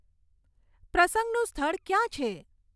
પ્રસંગનું સ્થળ ક્યાં છે